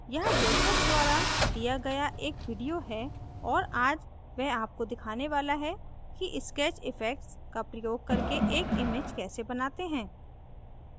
यहाँ joseph द्वारा दिया गया एक video है और आज वह आपको दिखाने वाला है कि sketch effects का प्रयोग करके एक image कैसे बनाते हैं